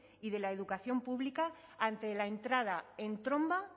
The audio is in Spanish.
y de la educación pública ante la entrada en tromba